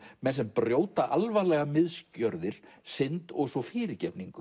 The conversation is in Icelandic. menn sem brjóta alvarlegar misgjörðir synd og svo fyrirgefningu